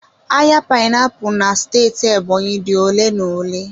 Ahịa painiapulu na steeti Ebonyi dị ole na ole.